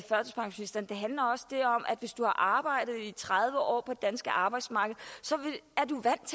hvis du har arbejdet i tredive år på det danske arbejdsmarked så